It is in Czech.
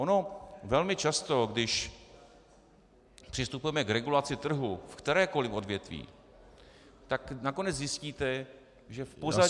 Ono velmi často, když přistupujeme k regulaci trhu v kterémkoliv odvětví, tak nakonec zjistíte, že v pozadí toho -